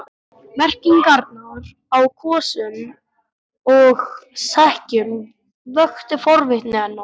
Merkingarnar á kössum og sekkjum vöktu forvitni hennar.